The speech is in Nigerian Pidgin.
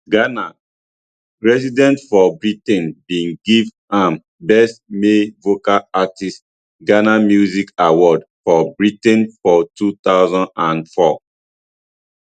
ghana residents for britain bin give am best male vocal artist ghana music awards for britain for two thousand and four